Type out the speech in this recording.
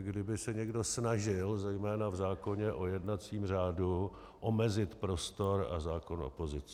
kdyby se někdo snažil zejména v zákoně o jednacím řádu omezit prostor a práva opozice.